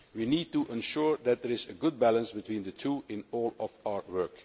we need to ensure that there is a good balance between the two in all of our work.